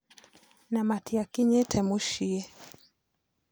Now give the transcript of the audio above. Na matiakinyĩte muciĩ.